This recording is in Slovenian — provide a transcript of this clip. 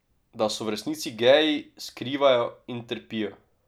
Da so v resnici geji, skrivajo in trpijo.